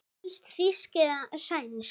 Helst þýsk eða sænsk.